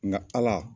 Nka ala